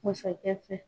Masakɛ fɛ